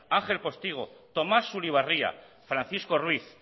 ángel postigo tomas sulibarria francisco ruiz